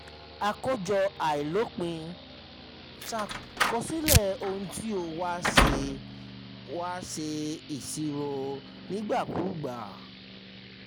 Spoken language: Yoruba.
àkójọ àìlopin: ṣàkọsílẹ̀ ohun tí ó wà ṣe wà ṣe ìṣirò nígbàkúùgbà.